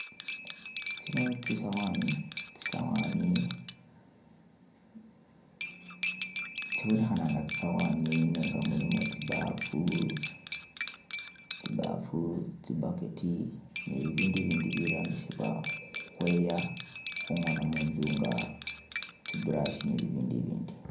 Tsino tsisawani, tsibonekhana nga tsisawani nenga mulimo tsibafu, tsi bucket ne bibindu ibindi birambisibwa khu khweya khungona munzu nga tsi brush ni bibindu ibindi.